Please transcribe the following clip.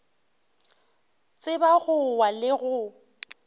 tseba go wa le go